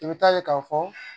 I bɛ taa ye k'a fɔ